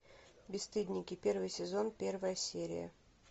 бесстыдники первый сезон первая серия